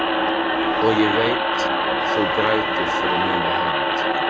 Og ég veit þú grætur fyrir mína hönd.